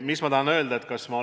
Mis ma tahan öelda?